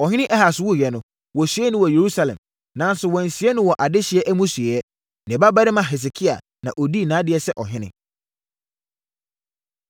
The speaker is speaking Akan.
Ɔhene Ahas wuiɛ no, wɔsiee no wɔ Yerusalem, nanso wɔansie no wɔ adehyeɛ amusieeɛ. Ne babarima Hesekia na ɔdii nʼadeɛ sɛ ɔhene.